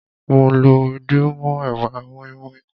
Mo lọ edé mọ́ èwà moinmoin.